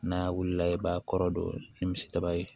N'a wulila i b'a kɔrɔ don ni misi daba ye